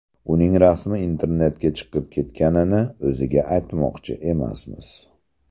Uning rasmi internetga chiqib ketganini o‘ziga aytmoqchi emasmiz.